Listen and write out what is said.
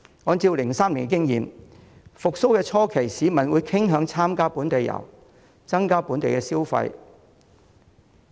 按照2003年的經驗，復蘇初期，市民傾向參加本地遊，增加本地消費。